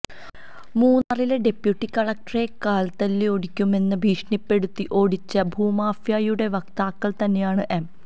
മൂന്നാറില് deputy കളക്ടറെ കാല്തല്ലിയൊടിക്കുമെന്ന് ഭീഷണിപ്പെടുത്തി ഓടിച്ച ഭൂമാഫിയയുടെ വക്താക്കള് തന്നെയാണ് എം